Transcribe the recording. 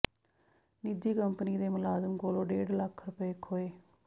ਨਿੱਜੀ ਕੰਪਨੀ ਦੇ ਮੁਲਾਜ਼ਮ ਕੋਲੋਂ ਡੇਢ ਲੱਖ ਰੁਪਏ ਖੋਹੇ